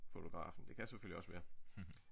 Fotografen det kan selvfølgelig også være